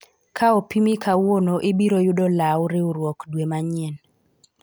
ka opimi kawuono ibiro yudo lawu riwruok dwe manyien